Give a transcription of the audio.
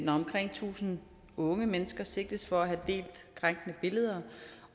når omkring tusind unge mennesker sigtes for at have delt krænkende billeder